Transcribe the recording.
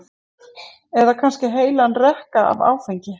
eða kannski heilan rekka af áfengi?